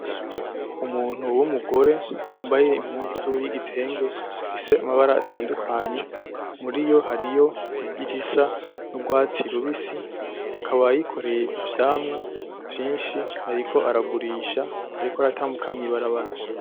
Umuntu w'umugore yambaye impuzu y'igitenge gifise amabara atandukanye muriyo hariyo nk'irisa n'ugwatsi rubisi akaba yikoreye ivyamwa vyinshi ariko aragurisha ariko aratambuka mw'ibarabara.